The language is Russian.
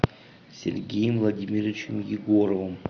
сергеем владимировичем егоровым